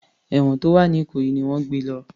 Èwọ̀n tó wà ní ìkòyí ni wọ́n gbé e lọ